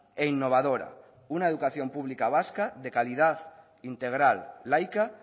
e innovadora una educación pública vasca de calidad integral laica